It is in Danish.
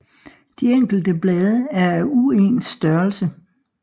De enkelte blade er af uens størrelse